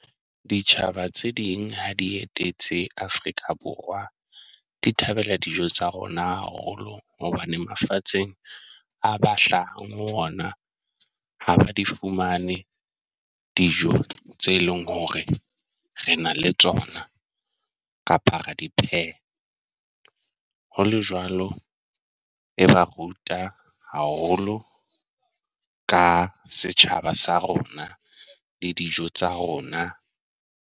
Ditjhaba tse ding ha di etetse Afrika Borwa, di thabela dijo tsa rona haholo hobane mafatsheng a ba hlahang ho ona. Ha ba di fumane dijo tse leng hore re na le tsona kapa ra di pheha. Hole jwalo e ba ruta haholo ka setjhaba sa rona le dijo tsa rona.